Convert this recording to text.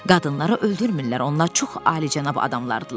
"Qadınları öldürmürlər, onlar çox alicənab adamlardırlar."